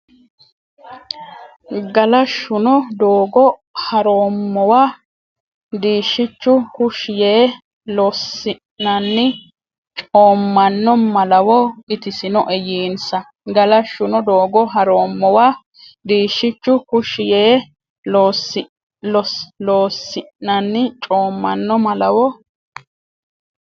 Galashshuno Doogo ha roommowa diishshichu kushshi yee Loossinanni coommanno malawo itisinoe yiinsa Galashshuno Doogo ha roommowa diishshichu kushshi yee Loossinanni coommanno malawo.